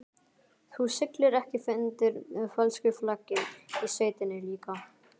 Þú siglir ekki undir fölsku flaggi í sveitinni líka?